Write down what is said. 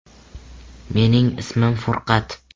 - Mening ismim Furqat.